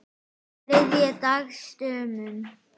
um þriðja dags dömum.